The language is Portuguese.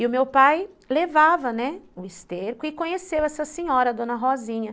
E o meu pai levava, né, o esterco e conheceu essa senhora, a dona Rosinha.